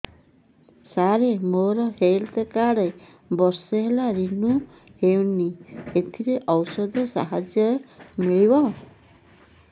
ସାର ମୋର health card ବର୍ଷେ ହେଲା ରିନିଓ ହେଇନି ଏଥିରେ ଔଷଧ ସାହାଯ୍ୟ ମିଳିବ